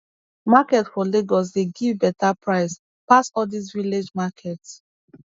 market for lagos dey give beta price pass all dis village markets